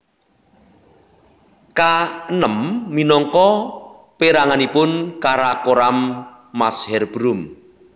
K enem minangka peranganipun karakoram Masherbrum